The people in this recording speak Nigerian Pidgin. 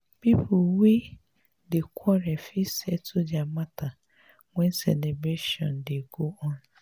pipo wey dey quarrel fit settle dia matter wen celebration dey go on.